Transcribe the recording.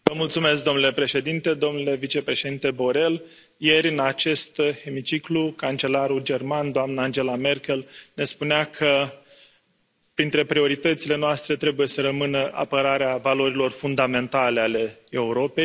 Domnule președinte, domnule vicepreședinte Borrell, ieri, în acest hemiciclu, cancelarul german, doamna Angela Merkel, ne spunea că printre prioritățile noastre trebuie să rămână apărarea valorilor fundamentale ale Europei.